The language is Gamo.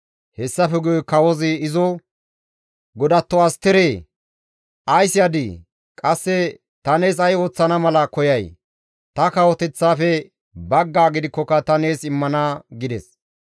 Hessafe guye kawozi izo, «Godatto Asteree, Ays yadii? Qasse ta nees ay ooththana mala koyay? Ta kawoteththaafe baggaa gidikkoka ta nees immana» gides.